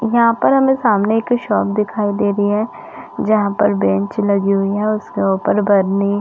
यहाँ पर हमें सामने एक शॉप दिखाई दे रही है जहाँ पर बेंच लगी हुई है उसके ऊपर बर्नी --